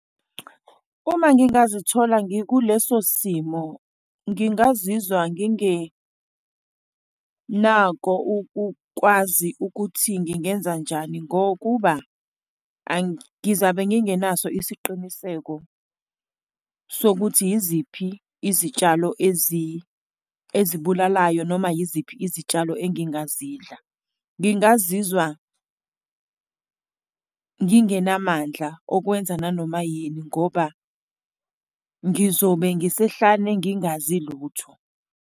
Uma ngingazithola ngikuleso simo ngingazizwa ngingenako ukukwazi ukuthi ngingenzanjani, ngokuba ngizame ngingenaso isiqiniseko sokuthi yiziphi izitshalo ezibulalayo, noma yiziphi izitshalo engingazidla. Ngingazizwa ngingenamandla okwenza nanoma yini ngoba ngizobe ngisehlane, ngingazi lutho.